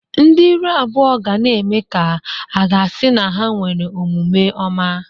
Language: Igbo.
Ndị iru abụọ ga na-eme ka aga-asị na ha nwere omume ọma.